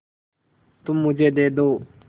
तुम मुझे दे दो